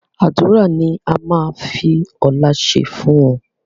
Àdúrà ni a máa fi ọ̀la ṣe fún ọ